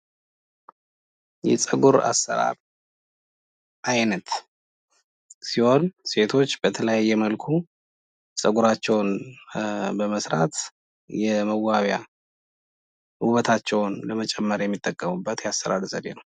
የጸጉር አሰራር አይነት ሲሆን፤ ሴቶች በተለያየ መልኩ ጸጉራቸውን በመሰራት የመዋቢያና ውበታቸውን መጠበቂያ ይተቀሙበታል።